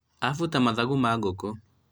abuta mathagu ma ngũkũ